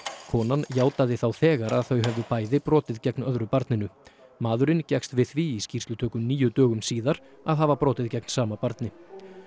konan játaði þá þegar að þau hefðu bæði brotið gegn öðru barninu maðurinn gekkst við því í skýrslutöku níu dögum síðar að hafa brotið gegn sama barni